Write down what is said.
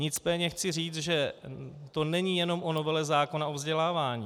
Nicméně chci říct, že to není jenom o novele zákona o vzdělávání.